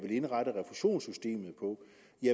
indrette refusionsystemet på